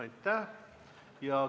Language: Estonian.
Aitäh!